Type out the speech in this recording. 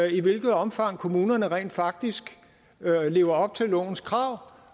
i hvilket omfang kommunerne rent faktisk lever op til lovens krav